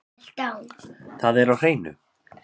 Það er á hreinu.